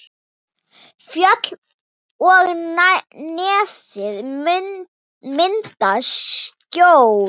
Fjöll og nesið mynda skjól.